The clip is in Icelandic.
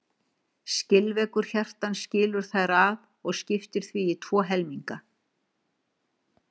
Skilveggur hjartans skilur þær að og skiptir því í tvo helminga.